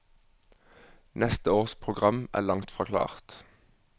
Neste års program er langt fra klart.